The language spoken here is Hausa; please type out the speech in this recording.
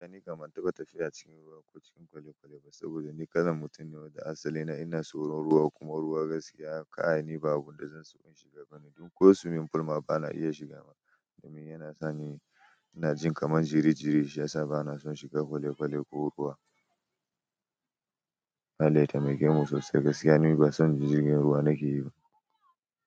Ni kam ban taba tafiya cikin ruwa ko cikin kwale-kwale ba saboda ni kalan mutum ne da asali na ina tsoron ruwa kuma ruwa gaskiya kai ni babu abu da zan so in shiga gani. Dan ko swimming pool ma bana iya shiga, dan yana sani inajin kaman jiri jirishiyasa banason shiga kwale kwale ko ruwa, Allah ya temakemu sosai gaskiya ni basan jirgin ruwa nakeyiba.